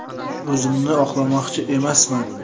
O‘zimni oqlamoqchi emasman.